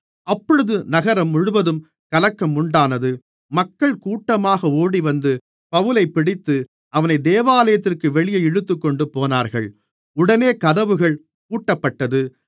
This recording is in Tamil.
அப்பொழுது நகரம் முழுவதும் கலக்கம் உண்டானது மக்கள் கூட்டமாக ஓடிவந்து பவுலைப் பிடித்து அவனை தேவாலயத்திற்கு வெளியே இழுத்துக்கொண்டுபோனார்கள் உடனே கதவுகள் பூட்டப்பட்டது